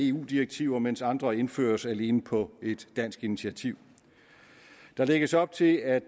eu direktiver mens andre indføres alene på et dansk initiativ der lægges op til at